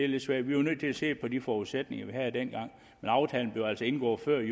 lidt svært vi var nødt til at se på de forudsætninger vi havde dengang men aftalen blev altså indgået før